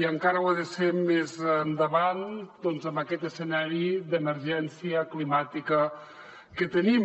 i encara ho ha de ser més endavant en aquest escenari d’emergència climàtica que tenim